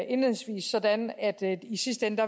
indledningsvis sådan at det i sidste ende